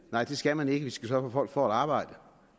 nej det skal man ikke vi skal sørge for at folk får arbejde